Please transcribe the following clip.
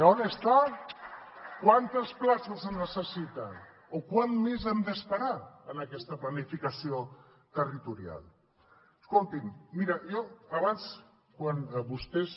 on està quantes places es necessiten o quant més hem d’esperar en aquesta planificació territorial escolti’m mira jo abans quan vostès